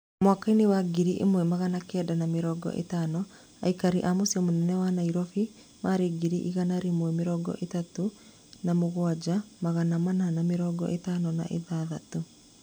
Mwaka-inĩ wa ngiri ĩmwe magana kenda ma mĩrongo ĩtano, aikari a mũcĩĩ mũnene wa Nairobi marĩ ngiri igana rĩa mĩrongo ĩtatũ na mũgwanja, magana mana ma mĩrongo ĩtano na ithathatũ